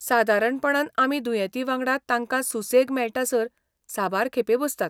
सादारणपणान आमी दुयेंतीवांगडा तांकां सुसेग मेळटासर साबार खेपे बसतात.